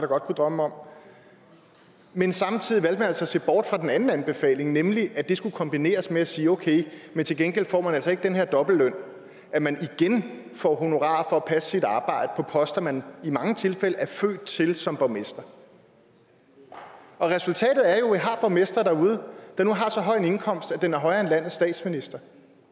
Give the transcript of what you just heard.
godt kunne drømme om men samtidig valgte at se bort fra den anden anbefaling nemlig at det skulle kombineres med at sige okay men til gengæld får man altså ikke den her dobbeltløn at man igen får honorar for at passe sit arbejde på poster man i mange tilfælde er født til som borgmester resultatet er jo at vi har borgmestre derude der nu har så høj en indkomst at den er højere end landets statsministers